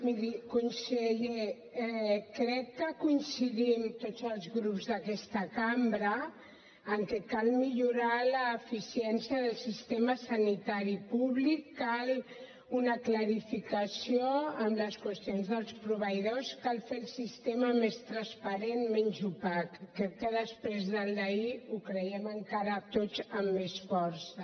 miri conseller crec que coincidim tots els grups d’aquesta cambra que cal millorar l’eficiència del sistema sanitari públic cal una clarificació en les qüestions dels proveïdors cal fer el sistema més transparent menys opac crec que després del d’ahir ho creiem encara tots amb més força